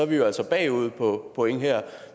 vi altså bagud på point